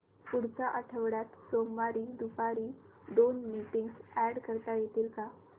पुढच्या आठवड्यात सोमवारी दुपारी दोन मीटिंग्स अॅड करता येतील का